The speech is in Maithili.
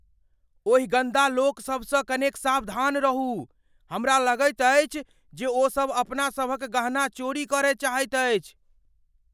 ओहि गन्दा लोक सभसँ कनेक सावधान रहू। हमरा लगैत अछि जे ओ सभ अपना सभक गहना चोरी करय चाहैत अछि।